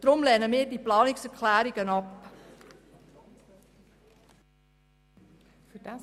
Deshalb lehnen wir diese Planungserklärungen ab.